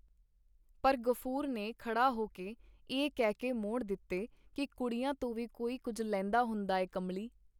ਪਰ ਗ਼ਫੂਰ ਨੇ ਖਡਾ ਹੋ ਕੇ ਇਹ ਕਹਿ ਕੇ ਮੋੜ ਦਿੱਤੇ ਕੀ ਕੁੜੀਆਂ ਤੋਂ ਵੀ ਕੋਈ ਕੁੱਝ ਲੈਂਦਾ ਹੁੰਦਾ ਐ ਕਮਲੀ.